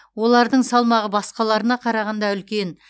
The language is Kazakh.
олардың салмағы басқаларына қарағанда үлкен